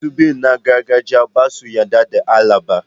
Masu bi na gargajiya ba su yarda da Allah ba.